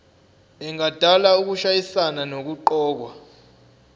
engadala ukushayisana nokuqokwa